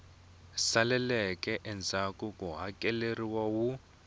saleleke endzhaku ku hakeleriwa wu